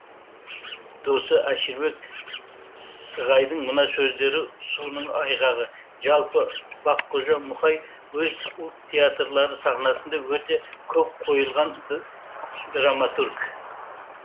досы әшірбек сссығайдың мына сөздері соның айғағы жалпы баққожа мұқаи өз ұлт театрлары сахнасында өте көп қойылған драматург